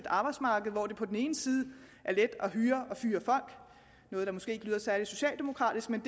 arbejdsmarked hvor det på den ene side er let at hyre og fyre folk noget der måske ikke lyder særlig socialdemokratisk men